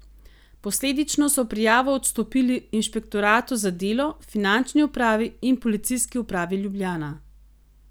Posledično so prijavo odstopili inšpektoratu za delo, finančni upravi in Policijski upravi Ljubljana.